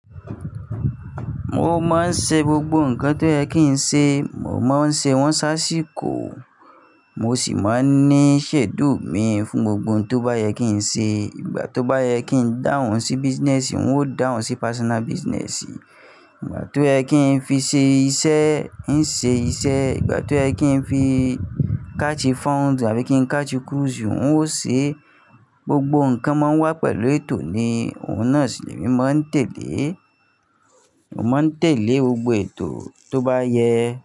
Mo máa ń ṣe gbogbo nǹkan tó yẹ kí n ṣe, mo máa ń ṣe wọ́n ṣáṣíkò, mo sì máa ń ní ṣẹ̀dùú mi fún gbogbo ohun tó bá yẹ kí n ṣe. Ìgbà tó bá yẹ kí n dáhùn sí business, n ó dáhùn sí personal business. Ìgbà tó yẹ kí n fi ṣe iṣẹ́, n ṣe iṣẹ́. Ìgbà tó yẹ kí n fi káàsii fọ́ùnù àbí kí n káàsii cruise, n ó ṣe é. Gbogbo nǹkan máa ń wà pẹ̀lú ètò ni òun náà ṣì lè mí máa ń tẹ̀lé. Mo máa ń tẹ̀lé gbogbo ètò tó bá yẹ.